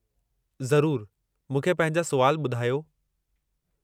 ज़रूरु, मूंखे पंहिंजा सुवाल ॿुधायो।